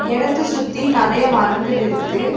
எடத்த சுத்தி நறைய மரங்கள் இருக்கு.